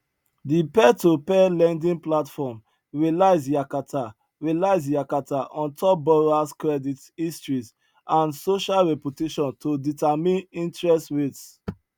di peertopeer lending platform relies yakata relies yakata on top borrowers credit histories and social reputation to determine interest rates